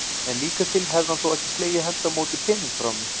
En líkast til hefði hann þó ekki slegið hendi á móti peningum frá mér.